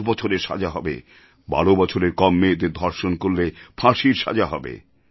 ১০ বছরের সাজা হবে ১২ বছরের কম মেয়েদের ধর্ষণ করলে ফাঁসির সাজা হবে